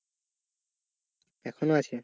এখনো আছে?